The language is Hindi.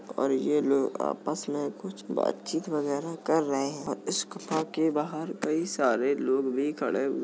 और ये लोग आपस में कुछ बातचीत वगैरा कर रहे हैं और इस गुफा के बाहर कई सारे लोग भी खड़े हु --